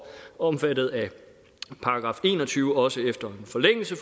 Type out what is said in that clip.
omfattet af § en og tyve også efter en forlængelse